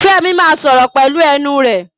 Fẹ́mi máa sọ̀rọ̀ pelu ẹnu rẹ̀